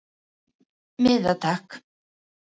Einn miða takk